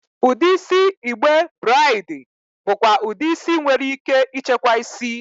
Udi isi igbe braidi bụkwa udi isi nwere ike ịchekwa isi.